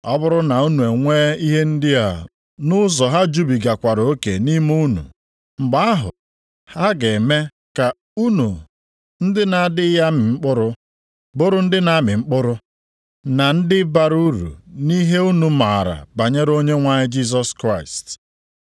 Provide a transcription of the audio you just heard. Ọ bụrụ na unu enwe ihe ndị a nʼụzọ ha jubigakwara oke nʼime unu, mgbe ahụ ha ga-eme ka unu ndị na-adịghị amị mkpụrụ, bụrụ ndị na-amị mkpụrụ, na ndị bara uru nʼihe unu maara banyere Onyenwe anyị Jisọs Kraịst.